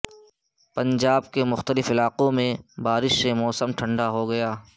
پنجاب کے مختلف علاقوں میں بارش سے موسم ٹھنڈا ٹھار ہوگیا